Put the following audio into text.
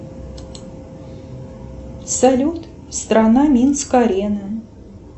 салют страна минск арена